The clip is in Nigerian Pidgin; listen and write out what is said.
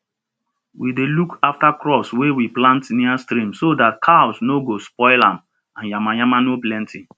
we dey look after crops wey we plant near stream so that cows no go spoil am and yamayama no plenty